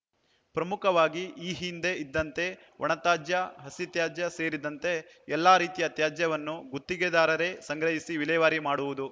ಪ್ರಮುಖವಾಗಿ ಈ ಹಿಂದೆ ಇದ್ದಂತೆ ಒಣತ್ಯಾಜ್ಯ ಹಸಿ ತ್ಯಾಜ್ಯ ಸೇರಿದಂತೆ ಎಲ್ಲ ರೀತಿಯ ತ್ಯಾಜ್ಯವನ್ನೂ ಗುತ್ತಿಗೆದಾರರೇ ಸಂಗ್ರಹಿಸಿ ವಿಲೇವಾರಿ ಮಾಡುವುದು